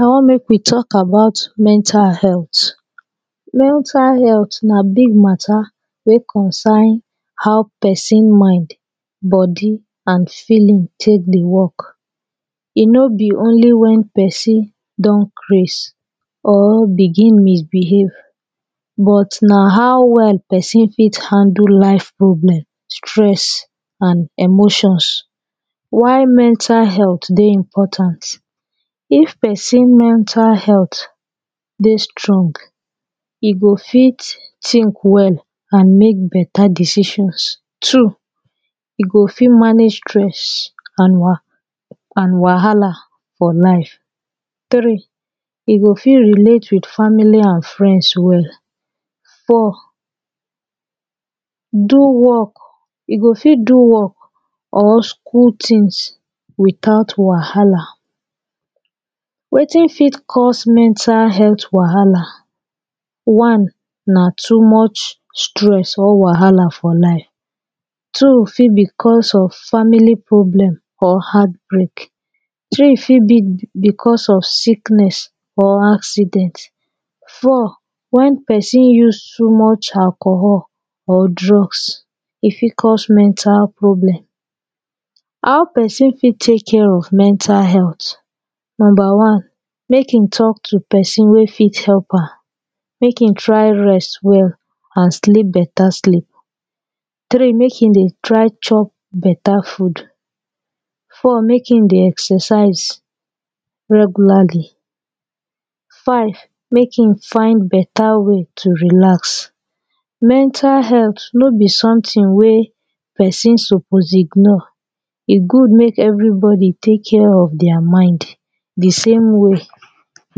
i want mek wi tok about mental health mental health na big mata wey concern how pesin mind bodi an feeling tek dey wok e no bi onli wen pesin don craze or begin misbehave but na how wel pesin fit handle life problem stress an emotions why mwntal health dey important if pesin mental health dey strong e go fit think wel an mek beta decisions two go fit manage stress an waha an wahala fo life three e go fit relate wit famili an friends wel four do wok e go fit do wok or skul tins witout wahala etin fit cause mental health wahala one na too much stress or wahala for life two fit bi cauz of famili problem or heartbreak three fit bi bicuz of siknes or accident our wen pesin use too much alchol or drugs e fit cuz mental problem how pesin fit tek care of mental health numba one mek e tok to pesin wey fit help am mek e try rest wel an sleep beta sleep three mek e dey try chop beta food four mek em dey exercise regularli five mek e find beta way to relax mental health no bi somtin wey pesin suppose ignore e good mek evribodi tek care of thier mind e same way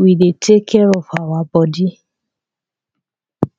wi de tek care of awa bodi